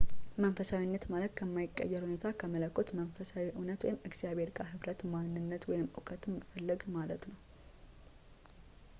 መንፈሳዊነት ማለት ከማይቀየር እውነታ ከመለኮት መንፈሳዊ እውነት ወይም እግዚአብሔር ጋር ኅብረት ማንነት ወይም እውቀትን መፈለግ ማለት ነው